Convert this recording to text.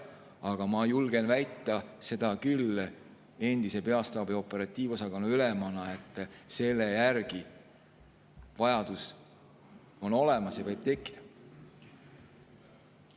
Aga ma julgen endise peastaabi operatiivosakonna ülemana väita, et vajadus selle järele võib tekkida.